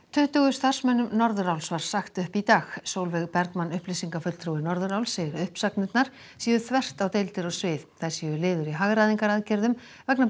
tuttugu starfsmönnum Norðuráls var sagt upp í dag Sólveig Bergmann upplýsingafulltrúi Norðuráls segir að uppsagnirnar séu þvert á deildir og svið þær séu liður í hagræðingaraðgerðum vegna